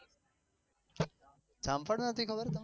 જામફળ નથી ખબર તમને